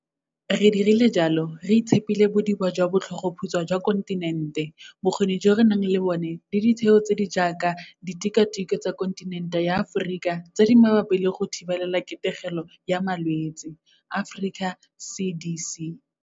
Re dirile jalo re itshepile bodiba jwa botlhogoputswa jwa kontinente, bokgoni jo re nang le bona le ditheo tse di jaaka Ditikwatikwe tsa Kontinente ya Aforika tse di Mabapi le go Thibelaketegelo ya Malwetse Africa CDC.